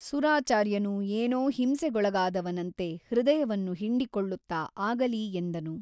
styletextindent 1cmಸುರಾಚಾರ್ಯನು ಏನೋ ಹಿಂಸೆಗೊಳಗಾದವನಂತೆ ಹೃದಯವನ್ನು ಹಿಂಡಿಕೊಳ್ಳುತ್ತಾ ಆಗಲಿ ಎಂದನು.